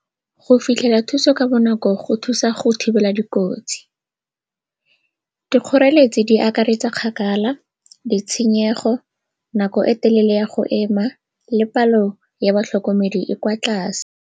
Go fitlhela thuso ka bonako go thusa go thibela dikotsi. Dikgoreletsi di akaretsa kgakala, ditshenyego, nako e telele ya go ema le palo ya batlhokomedi e kwa tlase.